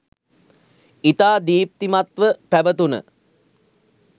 ඉතා දීප්තිමත්ව පැවතුන